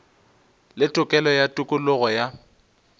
le tokelo ya tokologo ya